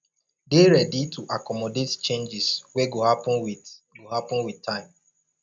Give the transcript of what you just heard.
dey ready to accomodate changes wey go happen with go happen with time